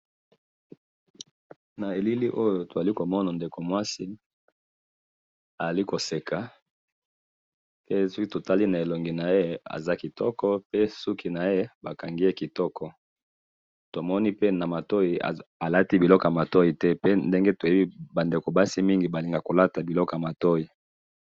Naelili oyo tozali komona, Ndeko mwasi azali koseka, soki totali na elongi naye azali pe kitoko, pe suki naye bakangi yango kitoko, pe tomoni alati biloko ya matoyi te pe ndenge toyebi ba ndeko ya basi mingi balingaka kolata biloko ya matoi.